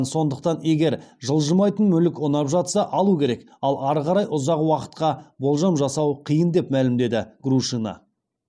сондықтан егер жылжымайтын мүлік ұнап жатса алу керек ал ары қарай ұзақ уақытқа болжам жасау қиын деп мәлімдеді грушина